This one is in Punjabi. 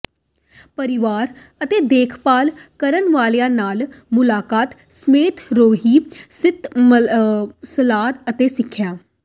ਪਰਿਵਾਰਕ ਅਤੇ ਦੇਖਭਾਲ ਕਰਨ ਵਾਲਿਆਂ ਨਾਲ ਮੁਲਾਕਾਤ ਸਮੇਤ ਰੋਗੀ ਸਿਹਤ ਸਲਾਹ ਅਤੇ ਸਿੱਖਿਆ